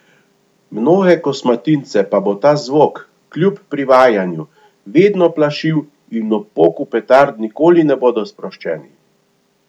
Mnoge kosmatince pa bo ta zvok, kljub privajanju, vedno plašil in ob poku petard nikoli ne bodo sproščeni.